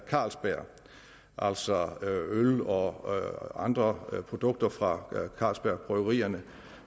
carlsberg altså øl og andre produkter fra carlsberg bryggerierne